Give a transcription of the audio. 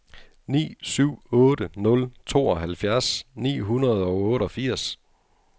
ni syv otte nul tooghalvfjerds ni hundrede og otteogfirs